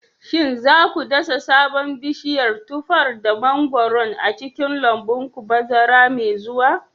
Shin za ku dasa sabon bishiyar tufar da mangwaron a cikin lambun ku bazara mai zuwa?